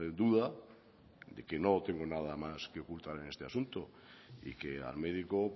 duda de que no tengo nada más que ocultar en este asunto y que al médico